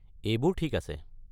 এইবোৰ ঠিক আছে।